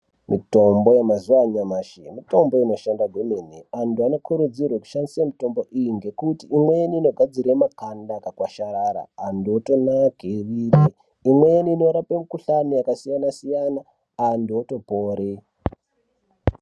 Mutombo yemazuwa anayamashi mitombo inoshanda kwemene antu anokurudzirwe kushandise mutombo iyi ngekuti imweni inogadzire maganda akakwasharara antu otonake mwiri imweni inorape mikhuhlani akasiyana siyana antu otopore.